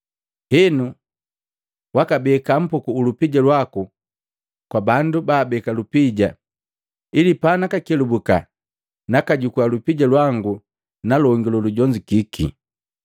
Henu wakabeka mpuku u lupija lwaku kwa bandu baabeka lupija ili panakakelubuka nakajukua lupija lwangu na longi lolujonzukiki.